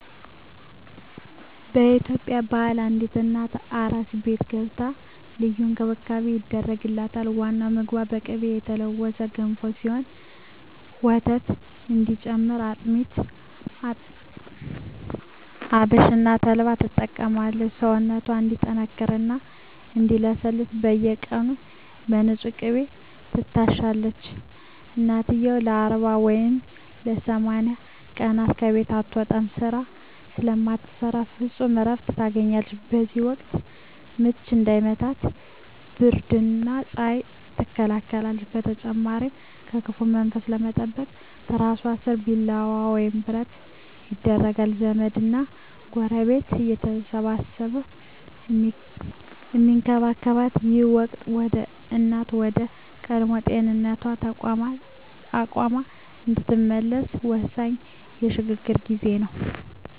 በኢትዮጵያ ባህል አዲስ እናት "አራስ ቤት" ገብታ ልዩ እንክብካቤ ይደረግላታል። ዋናው ምግቧ በቅቤ የተለወሰ ገንፎ ሲሆን፣ ወተት እንዲጨምር አጥሚት፣ አብሽና ተልባን ትጠጣለች። ሰውነቷ እንዲጠነክርና እንዲለሰልስ በየቀኑ በንፁህ ቅቤ ትታሻለች። እናትየው ለ40 ወይም ለ80 ቀናት ከቤት አትወጣም፤ ስራ ስለማትሰራ ፍጹም እረፍት ታገኛለች። በዚህ ወቅት "ምች" እንዳይመታት ብርድና ፀሐይ ትከላከላለች። በተጨማሪም ከክፉ መንፈስ ለመጠበቅ ትራሷ ስር ቢላዋ ወይም ብረት ይደረጋል። ዘመድና ጎረቤት እየተረባረበ የሚንከባከባት ይህ ወቅት፣ እናት ወደ ቀድሞ ጤናዋና አቅሟ የምትመለስበት ወሳኝ የሽግግር ጊዜ ነው።